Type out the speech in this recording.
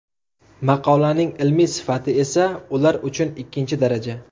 Maqolaning ilmiy sifati esa ular uchun ikkinchi daraja.